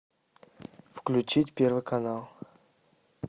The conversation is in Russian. включить первый канал